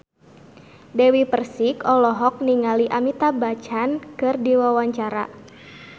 Dewi Persik olohok ningali Amitabh Bachchan keur diwawancara